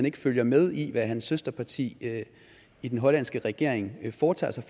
ikke følger med i hvad hans søsterparti i den hollandske regering foretager sig